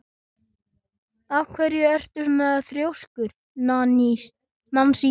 Af hverju ertu svona þrjóskur, Nansý?